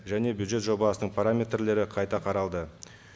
және бюджет жобасының параметрлері қайта қаралды